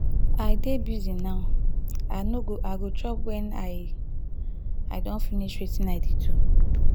i dey busy now i no go i go chop wen i i don finish wetin i dey do.